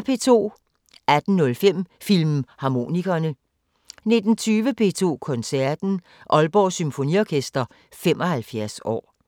18:05: Filmharmonikerne 19:20: P2 Koncerten: Aalborg Symfoniorkester 75 år